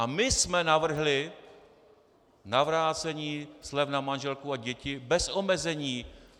A my jsme navrhli navrácení slev na manželku a děti bez omezení.